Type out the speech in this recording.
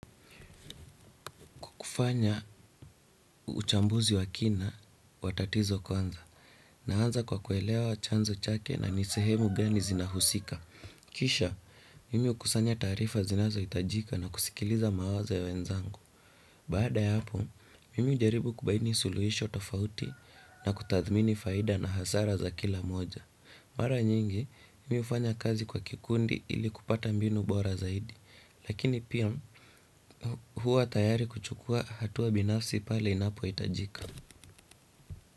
Kufanya uchambuzi wa kina watatizo kwanza na anza kwa kuelewa chanzo chake na ni sehemu gani zinahusika. Kisha, mimi hukusanya taarifa zinazo hitajika na kusikiliza mawazo ya wenzangu. Baada ya hapo, mimi hujaribu kubaini suluhisho tofauti na kutathmini faida na hasara za kila moja. Mara nyingi, mimi hufanya kazi kwa kikundi ili kupata mbinu bora zaidi. Lakini pia huwa tayari kuchukua hatua binafsi pale inapo itajika.